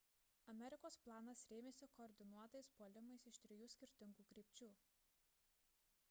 amerikos planas rėmėsi koordinuotais puolimais iš trijų skirtingų krypčių